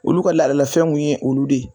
Olu ka ladalafɛnw kun ye olu de ye.